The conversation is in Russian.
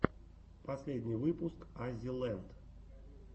последний выпуск аззи ленд